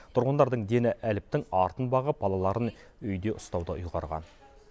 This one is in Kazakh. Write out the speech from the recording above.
тұрғындардың дені әліптің артын бағып балаларын үйде ұстауды ұйғарған